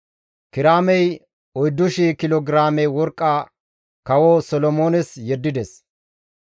Kiraamey 4,000 kilo giraame worqqa kawo Solomoones yeddides.